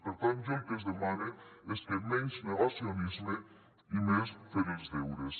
per tant jo el que els demane és que menys negacionisme i més fer els deures